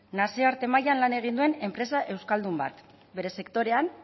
nazioarte mailan lan egin duen enpresa euskaldun bat bere sektorean